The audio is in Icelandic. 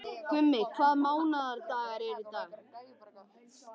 Gummi, hvaða mánaðardagur er í dag?